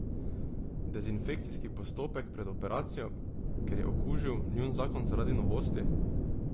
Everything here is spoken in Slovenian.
Dezinfekcijski postopek pred operacijo, ker je okužil njun zakon zaradi novosti?